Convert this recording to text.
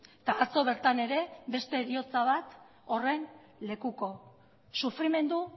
eta atzo bertan ere beste heriotza bat horren lekuko sufrimendu